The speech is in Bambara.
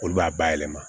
Olu b'a bayɛlɛma